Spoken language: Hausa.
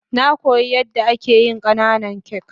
Na koya yan da ake yin kananan kak.